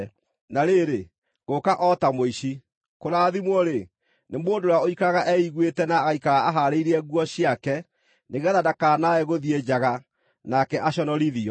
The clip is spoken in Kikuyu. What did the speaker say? “Na rĩrĩ, ngũũka o ta mũici! Kũrathimwo-rĩ, nĩ mũndũ ũrĩa ũikaraga eiguĩte na agaikara ahaarĩirie nguo ciake, nĩgeetha ndakanae gũthiĩ njaga, nake aconorithio.”